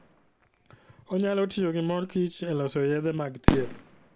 Onyalo tiyo gi mor kich e loso yedhe mag thieth.